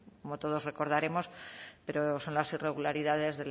como todos recordaremos pero son las irregularidades